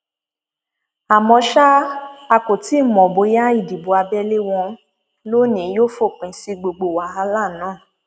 àmọ ṣá a kò tí ì mọ bóyá ìdìbò abẹlé wọn lónìín yóò fòpin sí gbogbo wàhálà náà